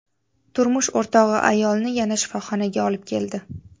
Turmush o‘rtog‘i ayolni yana shifoxonaga olib keldi.